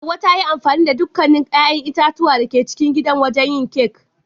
Hauwa ta yi amfani da dukkan 'ya'yan itatuwa da ke cikin gidan wajen yin kek.